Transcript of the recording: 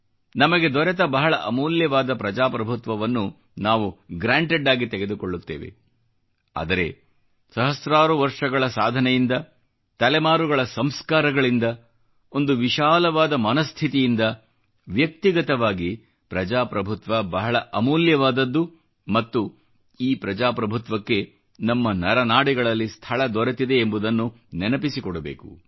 ನಮಗೆ ದೊರೆತ ಬಹಳ ಅಮೂಲ್ಯವಾದ ಪ್ರಜಾಪ್ರಭುತ್ವವನ್ನು ನಾವು ಗ್ರ್ಯಾಂಟೆಡ್ ಆಗಿ ತೆಗೆದುಕೊಳ್ಳುತ್ತೇವೆ ಆದರೆ ಸಹಸ್ರಾರು ವರ್ಷಗಳ ಸಾಧನೆಯಿಂದ ತಲೆಮಾರುಗಳ ಸಂಸ್ಕಾರಗಳಿಂದ ಒಂದು ವಿಶಾಲವಾದ ಮನಸ್ಥಿತಿಯಿಂದ ವ್ಯಕ್ತಿಗತವಾಗಿ ಪ್ರಜಾಪ್ರಭುತ್ವ ಬಹಳ ಅಮೂಲ್ಯವಾದದ್ದು ಮತ್ತು ಈ ಪ್ರಜಾಪ್ರಭುತ್ವಕ್ಕೆ ನಮ್ಮ ನರನಾಡಿಗಳಲ್ಲಿ ಸ್ಥಳ ದೊರೆತಿದೆ ಎಂಬುದನ್ನು ನೆನಪಿಸಿಕೊಡಬೇಕು